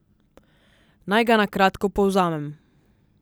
Naj ga na kratko povzamem.